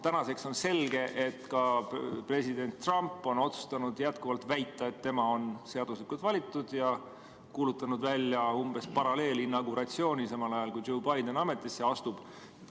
Tänaseks on selge, et president Trump on otsustanud jätkuvalt väita, et tema on seaduslikult valitud, ja on kuulutanud välja umbes nagu paralleelinauguratsiooni, samal ajal kui Biden ametisse astub.